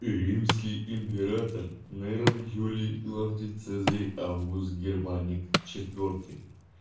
и римский император нейрон клавдий цезарь август германик четвёртый